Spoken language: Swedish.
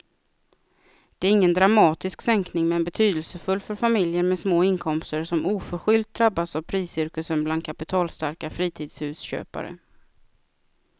Det är ingen dramatisk sänkning men betydelsefull för familjer med små inkomster som oförskyllt drabbats av priscirkusen bland kapitalstarka fritidshusköpare.